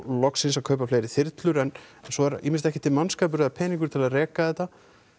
loksins að kaupa fleiri þyrlur en svo er ýmist ekki til mannskapur eða peningur til að reka þetta